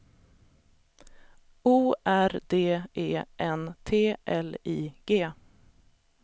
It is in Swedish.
O R D E N T L I G